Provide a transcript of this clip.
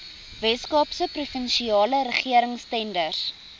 weskaapse provinsiale regeringstenders